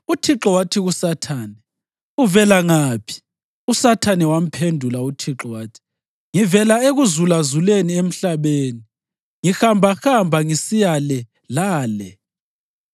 UThixo wathi kuSathane, “Uvela ngaphi?” USathane wamphendula uThixo wathi, “Ngivela ekuzulazuleni emhlabeni, ngihambahamba ngisiya le lale.”